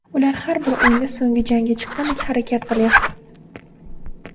Ular har bir o‘yinda so‘nggi jangga chiqqandek harakat qilyapti.